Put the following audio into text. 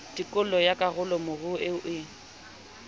tikolo ya karolomoruo eo e